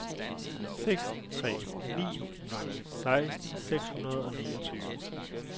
seks tre ni nul seksten seks hundrede og niogtyve